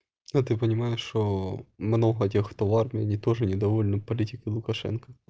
ну ты понимаешь что много тех кто в армии они не тоже недовольны политикой лукашенко